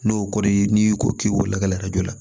N'o kɔɔri n'i ko k'i lakala joona